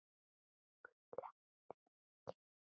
Guð blessi þig, Maggi.